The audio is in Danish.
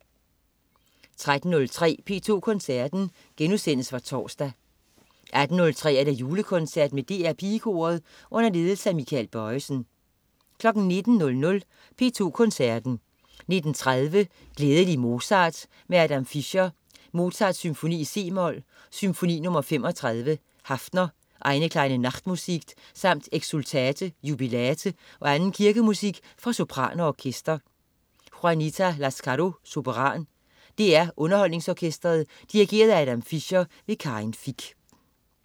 13.03 P2 Koncerten. Genudsendelse fra torsdag 18.03 Julekoncert med DR Pigekoret. Under ledelse af Michael Bojesen 19.00 P2 Koncerten. 19.30 Glædelig Mozart med Adam Fischer. Mozart: Symfoni i c-mol, Symfoni nr. 35, Haffner, Eine kleine Nachtmusik samt Exsultate, jubilate og anden kirkemusik for sopran og orkester. Juanita Lascarro, sopran. DR UnderholdningsOrkestret. Dirigent: Adam Fischer. Karin Fich